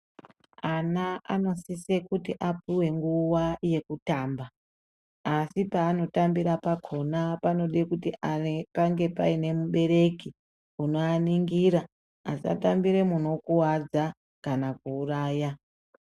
Ana anosisa kuti apuwe nguwa yekutamba. Asi paanotambira pakona panode kuti pange panemubereki unozoaningira asatambira munokuwadza kana kuuraya.